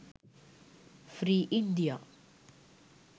free india